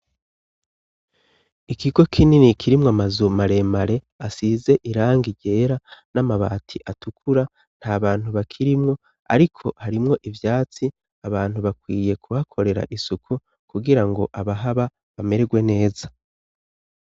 ikigo k'inini kirimwo amazu maremare asize irangi ryera n'amabati atukura nta bantu bakirimwo ariko harimwo ivyatsi abantu bakwiye kubakorera isuku kugira ngo abahaba bamerwe neza